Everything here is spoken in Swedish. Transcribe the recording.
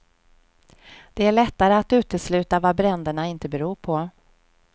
Det är lättare att utesluta vad bränderna inte beror på.